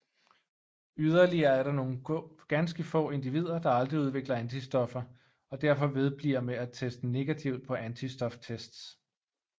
Yderligere er der nogle ganske få individer der aldrig udvikler antistoffer og derfor vedbliver med at teste negativt på antistoftests